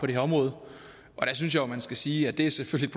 det her område der synes jeg jo at man skal sige at det selvfølgelig